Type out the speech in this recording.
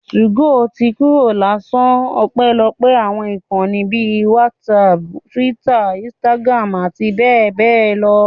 2go ti kúrò l'áṣà, ọpẹ́lọpẹ́ àwọn ìkànnì bíi whatsapp, Twitter, Instagram, àti bẹ́ẹ̀ bẹ́ẹ̀ lọ